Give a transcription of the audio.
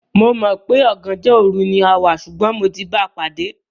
Mò mọ̀ wípé "ọ̀gànjọ́ òru" ni a wá, ṣùgbọ́n mo ti báa pàdé.